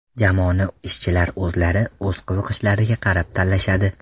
Jamoani ishchilar o‘zlari o‘z qiziqishiga qarab tanlashadi.